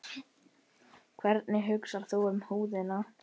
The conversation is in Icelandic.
Hvernig hugsar þú um húðina?